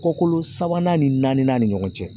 Kɔkolo sabanan ni naaninan ni ɲɔgɔn cɛ